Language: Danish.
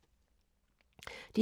DR K